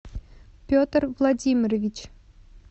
петр владимирович